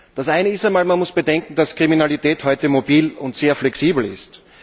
Das eine ist einmal Man muss bedenken, dass Kriminalität heute mobil und sehr flexibel ist.